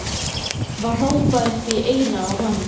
var hrópað upp í eyrað á honum.